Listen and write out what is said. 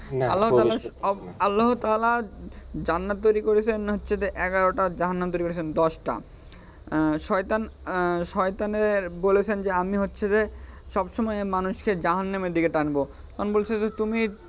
আল্লাহ তালা আল্লহ তালা জান্নাত তৈরি করেছেন, হচ্ছে এগারোটা জান্নাত তৈরি করেছেন দশটা, শয়তানের বলেছেন যে আমি হচ্ছে যে সব সময় মানুষকে জাহান্নমের দিকে টানব, আমি বলেছি যে তুমি,